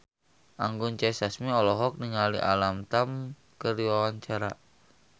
Anggun C. Sasmi olohok ningali Alam Tam keur diwawancara